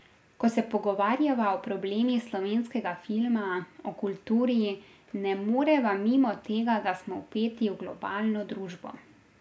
Ko se pogovarjava o problemih slovenskega filma, o kulturi, ne moreva mimo tega, da smo vpeti v globalno družbo.